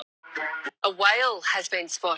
Nei, það er ekki hann, það er sonur Hrólfs.